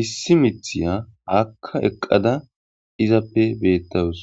issi mithiya haakka eqqada izappe beettawus.